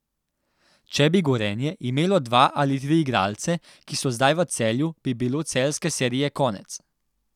Če bi Gorenje imelo dva ali tri igralce, ki so zdaj v Celju, bi bilo celjske serije konec.